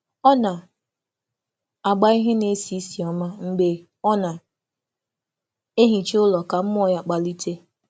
Ọ na - agba ihe na-esi isi ọma mgbe ọ na - ehicha ụlọ ka mmụọ ya kpalite.